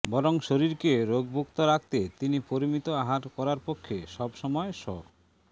বরং শরীরকে রোগমুক্ত রাখতে তিনি পরিমিত আহার করার পক্ষে সব সময় স